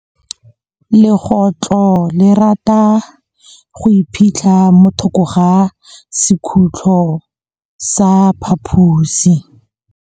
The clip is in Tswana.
Legôtlô le rata go iphitlha mo thokô ga sekhutlo sa phaposi.